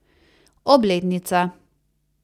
Obletnica.